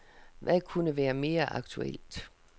Hvad kunne være mere aktuelt.